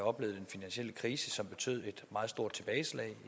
oplevet en finansiel krise som betød et meget stort tilbageslag